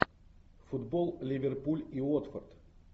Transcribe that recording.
футбол ливерпуль и уотфорд